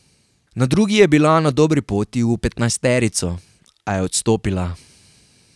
Na drugi je bila na dobri poti v petnajsterico, a je odstopila.